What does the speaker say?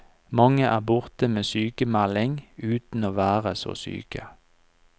Mange er borte med sykmelding uten å være så syke.